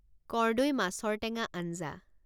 কৰ্দৈ মাছৰ টেঙা আঞ্জা